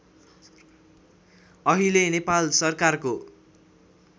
अहिले नेपाल सरकारको